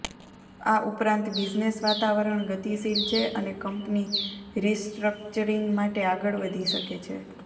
આ ઉપરાંત બિઝનેસ વાતાવરણ ગતિશીલ છે અને કંપની રિસ્ટ્રક્ચરિંગ માટે આગળ વધી શકે છે